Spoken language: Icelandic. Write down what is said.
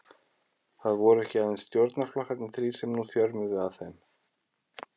Það voru ekki aðeins stjórnarflokkarnir þrír, sem nú þjörmuðu að þeim.